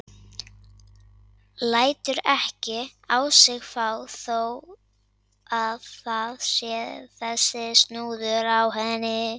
Lætur ekki á sig fá þó að það sé þessi snúður á henni.